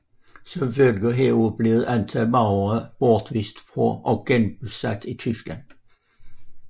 Som følge heraf blev et antal Masurere bortvist og genbosat i Tyskland